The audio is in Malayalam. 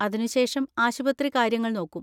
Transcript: അതിനുശേഷം ആശുപത്രി കാര്യങ്ങൾ നോക്കും.